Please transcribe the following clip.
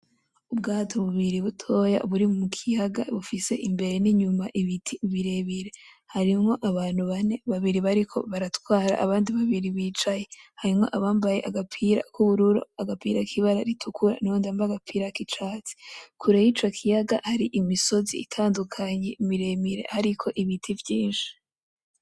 Ubwato bubiri butoya buri mu kiyaga bufise imbere n'inyuma ibiti birebire, harimwo abantu bane, babiri bariko baratwara abandi babiri bicaye, harimwo abambaye agapira k'ubururu, agapira k'ibara ritukura nuwundi yambaye ak'icatsi, kure y'ico kiyaga hari imisozi itandukanye miremire hariko ibiti vyinshi.